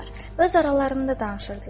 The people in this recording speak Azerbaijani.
Öz aralarında danışırdılar.